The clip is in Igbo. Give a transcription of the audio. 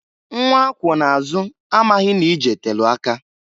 Nnwa akwụọ n'azụ amaghị n'ije telu aka.